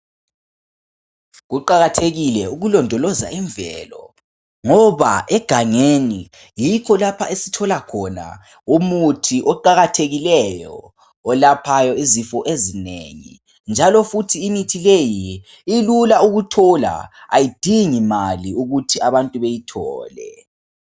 Kuqakathekile ukulondoloza imvelo ngoba egangeni yikho lapha esithola khona umuthi oqakathekileyo olaphayo izifo ezinengi njalo futhi imithi leyi ilula ukuthola ayidingi mali ukuthi abantu beyithole.